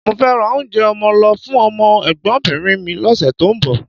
Mo fẹ́ ra oúnjẹ ọmọ lọ fún ọmọ ẹ̀gbọ́nbìnrin mi lọ́sẹ̀ tó ń bọ̀